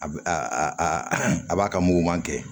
A b a a b'a ka muguman kɛ